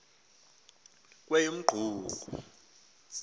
kweyomqungu